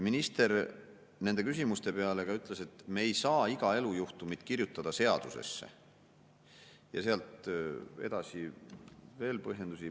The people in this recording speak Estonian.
Minister ütles nende küsimuste peale, et me ei saa iga elujuhtumit kirjutada seadusesse, ja sealt edasi veel põhjendusi.